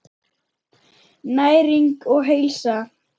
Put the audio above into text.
Næring og heilsa.